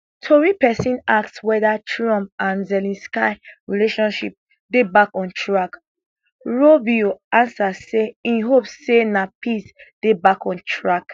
tori pesin ask weda trump and zelensky relationship dey back on track rubio ansa say im hope say na peace dey back on track